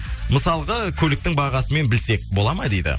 мысалға көліктің бағасымен білсек болады ма дейді